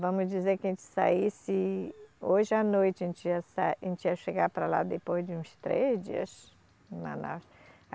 Vamos dizer que a gente saísse hoje à noite, a gente ia sa, a gente ia chegar para lá depois de uns três dias, em Manaus